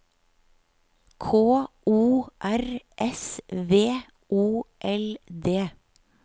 K O R S V O L D